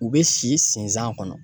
U bɛ si sensan kɔnɔ.